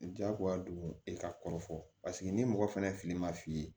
Jagoya don e ka kɔrɔfɔli ni mɔgɔ fɛnɛ fili ma f'i ye